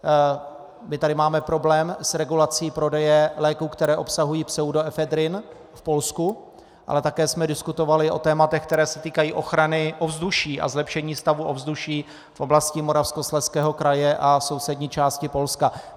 My tady máme problém s regulací prodeje léků, které obsahují pseudoefedrin v Polsku, ale také jsme diskutovali o tématech, která se týkají ochrany ovzduší a zlepšení stavu ovzduší v oblasti Moravskoslezského kraje a sousední části Polska.